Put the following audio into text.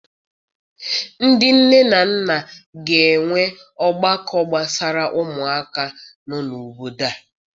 Ndị nne na nna ga-enwe ọgbakọ gbasara ụmụaka nọ n'obodo a.